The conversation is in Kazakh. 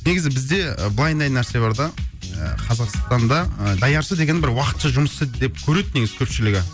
негізі бізде і нәрсе бар да ыыы қазақстанда ы даяшы деген бір уақытша жұмысы деп көреді негізі көпшілігі